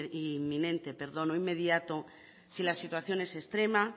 inminente o inmediato si la situación es extrema